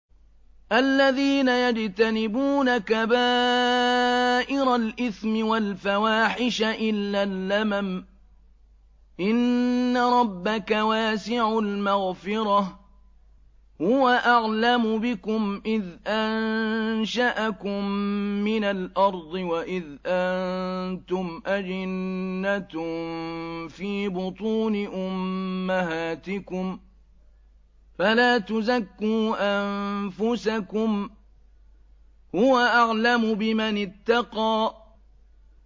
الَّذِينَ يَجْتَنِبُونَ كَبَائِرَ الْإِثْمِ وَالْفَوَاحِشَ إِلَّا اللَّمَمَ ۚ إِنَّ رَبَّكَ وَاسِعُ الْمَغْفِرَةِ ۚ هُوَ أَعْلَمُ بِكُمْ إِذْ أَنشَأَكُم مِّنَ الْأَرْضِ وَإِذْ أَنتُمْ أَجِنَّةٌ فِي بُطُونِ أُمَّهَاتِكُمْ ۖ فَلَا تُزَكُّوا أَنفُسَكُمْ ۖ هُوَ أَعْلَمُ بِمَنِ اتَّقَىٰ